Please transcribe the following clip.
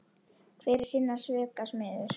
Hver er sinna svika smiður.